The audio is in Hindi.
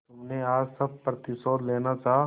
तुमने आज सब प्रतिशोध लेना चाहा